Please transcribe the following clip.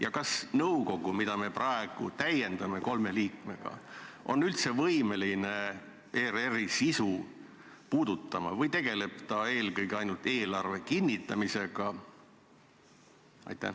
Ja kas nõukogu, mida me praegu täiendame kolme liikmega, on üldse võimeline ERR-i sisu puudutama või tegeleb ta eelkõige ainult eelarve kinnitamisega?